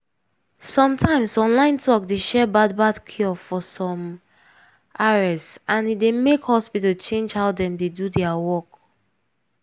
some times online talk dey share bad bad cure for some ares and e dey make hospital change how dem dey do their work.